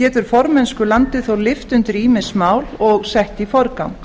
getur formennskulandið þó lyft undir ýmis mál og sett í forgang